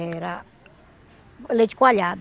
Era leite coalhado.